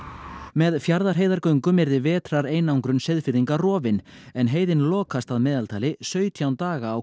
með Fjarðarheiðargöngum yrði vetrareinangrun Seyðfirðinga rofin en heiðin lokast að meðaltali sautján daga á